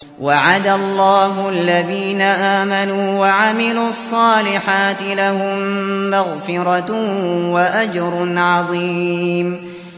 وَعَدَ اللَّهُ الَّذِينَ آمَنُوا وَعَمِلُوا الصَّالِحَاتِ ۙ لَهُم مَّغْفِرَةٌ وَأَجْرٌ عَظِيمٌ